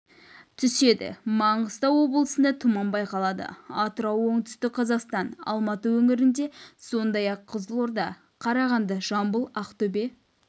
түседі маңғыстау облысында тұман байқалады атырау оңтүстік қазақстан алматы өңірлерінде сондай-ақ қызылорда қарағанды жамбыл ақтөбе